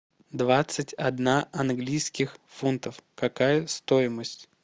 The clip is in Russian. двадцать одна английских фунтов какая стоимость